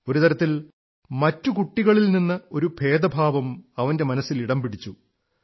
ഒരു തരത്തിൽ മറ്റു കുട്ടികളിൽ നിന്ന് ഒരു ഭേദഭാവം അവന്റെ മനസ്സിൽ ഇടം പിടിച്ചു